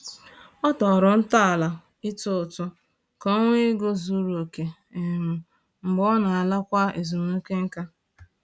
Ọ tọrọ ntọala ịtụ ụtụ ka ọ nwee ego zuru oke um mgbe ọ ga-alakwa ezumike nká